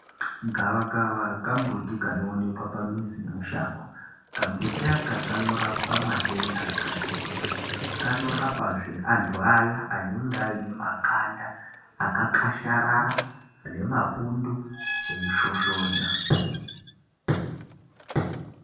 Gavakava kambuti kanoonekwa pamuzi nemushango. Kambuti aka kanorapa matenda akati kuti. Kanorapezve antu aye anenge aine makanda akakwasharara ane mapundu eishoshona.